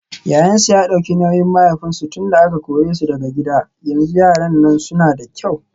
Yayansu ya dauki nauyin mahaifinsu tunda aka kore su daga gida yanzu yaran nan suna da kyau.